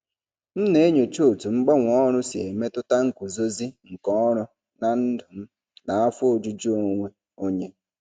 M na-enyocha otú mgbanwe ọrụ si emetụta nguzozi nke ọrụ na ndụ m na afọ ojuju onwe onye.